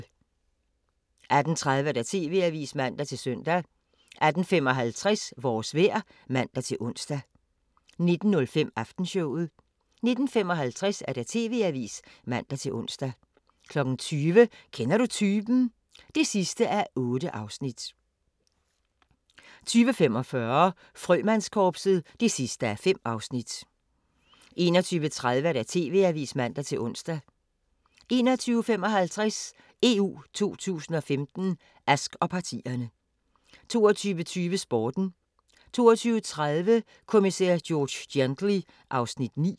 18:30: TV-avisen (man-søn) 18:55: Vores vejr (man-ons) 19:05: Aftenshowet 19:55: TV-avisen (man-ons) 20:00: Kender du typen? (8:8) 20:45: Frømandskorpset (5:5) 21:30: TV-avisen (man-ons) 21:55: EU 2015: Ask og partierne 22:20: Sporten 22:30: Kommissær George Gently (Afs. 9)